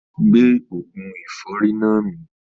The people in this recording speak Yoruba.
Gbé oògùn ẹ̀fọ́rì náà mì